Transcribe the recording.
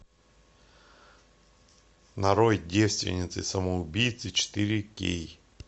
нарой девственницы самоубийцы четыре кей